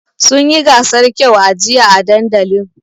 Sun yi gasar kyau a jiya a dandalin.